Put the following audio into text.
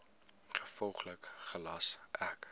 gevolglik gelas ek